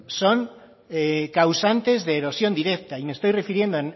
son causantes de erosión directa y me estoy refiriendo